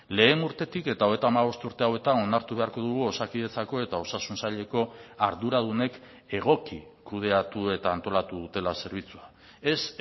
lehen urtetik eta hogeita hamabost urte hauetan onartu beharko dugu osakidetzako eta osasun saileko arduradunek egoki kudeatu eta antolatu dutela zerbitzua ez